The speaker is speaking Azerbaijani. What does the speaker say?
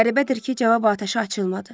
Qəribədir ki, cavab atəşə açılmadı.